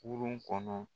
Kurun kɔnɔ